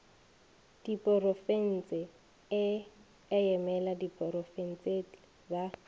diporofense e emela diprofensetle ba